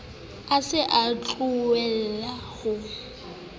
a sa o tlwaelang ho